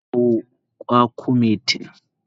Eh, na kawo kwakumetin.